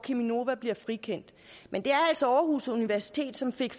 cheminova blev frikendt men det er altså aarhus universitet som fik